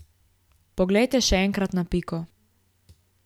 Poglejte še enkrat na piko.